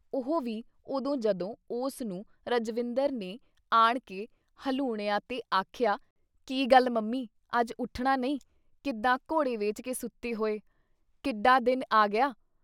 ਉਹ ਵੀ ਉਦੋਂ ਜਦੋਂ ਉਸ ਨੂੰ ਰਜਵਿੰਦਰ ਨੇ ਆਣਕੇ ਹਲੂਣਿਆਂ ਤੇ ਆਖਿਆ-ਕੀ ਗੱਲ ਮੰਮੀ! ਅੱਜ ਉੱਠਣਾ ਨਹੀਂ! ਕਿੱਦਾਂ ਘੋੜੇ ਵੇਚ ਕੇ ਸੁੱਤੀ ਹੋਈ? ਕਿੱਡਾ ਦਿਨ ਆ ਗਿਆ ?